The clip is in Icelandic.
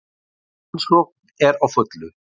Rannsókn er á fullu